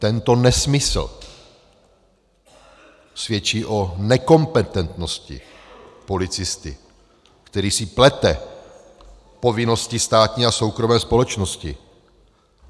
Tento nesmysl svědčí o nekompetentnosti policisty, který si plete povinnosti státní a soukromé společnosti.